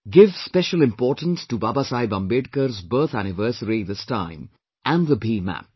Give special importance to Baba Saheb Ambedkar's birth anniversary this time and the BHIM App